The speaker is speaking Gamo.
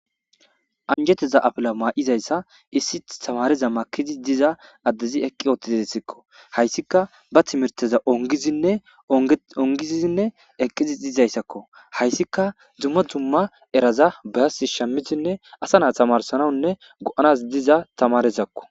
anjetiza apila maa7izayssa issi tamareza makizi diza addezi eqqi utizessikko hayssika ba timirteza ongizinne ongizizinne eqqizi dizayssakko hayssika dumma dumma eraza basi shamisinne asa naa tamarsanawunne go7anas diza tamarezakko